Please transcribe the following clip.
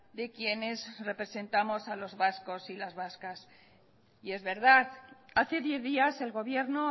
de quienes representamos a los vascos las vascas y es verdad hace diez días el gobierno